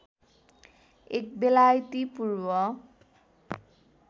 एक बेलायती पूर्व